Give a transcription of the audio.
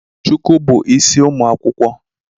Shuku bu isi ụmụ akwụkwọ